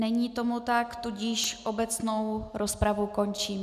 Není tomu tak, tudíž obecnou rozpravu končím.